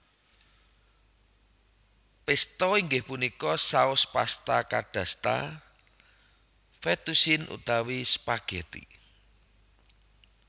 Pesto inggih punika saus pasta kadasta fettucine utawi spaghetti